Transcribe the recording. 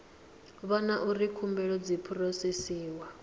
vhona uri khumbelo dzi phurosesiwa